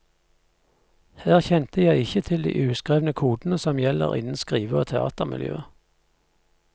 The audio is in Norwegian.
Her kjente jeg ikke til de uskrevne kodene som gjelder innen skrive og teatermiljøet.